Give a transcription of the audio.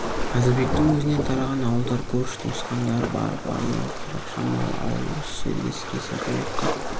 қазыбектің өзінен тараған ауылдар көрші туысқандары бар барлығы қырық шамалы ауыл осы жерге сіресе қоныпты